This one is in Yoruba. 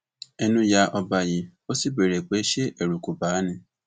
ẹnu ya ọba yìí ó sì béèrè pé ṣé ẹrù kó bà á ni